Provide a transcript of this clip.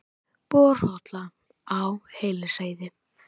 Borhola á Hellisheiði.